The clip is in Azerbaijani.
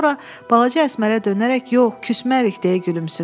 Sonra balaca Əsmərə dönərək, yox küsmərik, deyə gülümsündü.